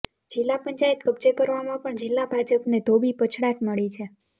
જિલ્લા પંચાયત કબ્જે કરવામાં પણ જિલ્લા ભાજપને ધોબી પછડાટ મળી છે